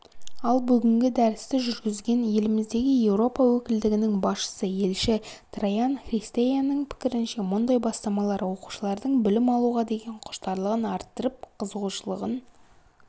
ал бүгінгі дәрісті жүргізген еліміздегі еуропа өкілдігінің басшысы елші траян христеяның пікірінше мұндай бастамалар оқушылардың білім алуға деген құштарлығын арттырып қызығушылығын